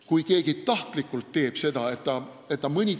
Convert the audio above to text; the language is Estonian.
Kui keegi tahtlikult mõnitab hümni, siis see on teotamine.